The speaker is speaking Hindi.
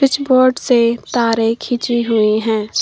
कुछ बोर्ड से तारे खींची हुई हैं।